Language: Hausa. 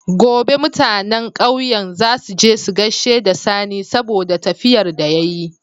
Gobe mutAnan ƙauyen zasu je su gaishe da sani saboda tafiyar da yayi